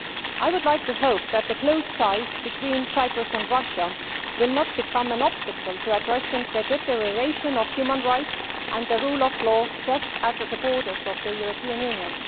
I hope that the close ties between Cyprus and Russia will not become an obstacle to addressing the deterioration of human rights and the rule of law just across the border from the European Union.